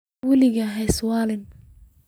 Waligaa haiswalin .